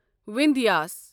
وِندھیٖس